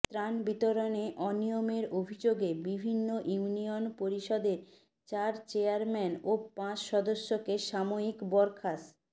ত্রাণ বিতরণে অনিয়মের অভিযোগে বিভিন্ন ইউনিয়ন পরিষদের চার চেয়ারম্যান ও পাঁচ সদস্যকে সাময়িক বরখাস